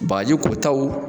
Bagaji kotaw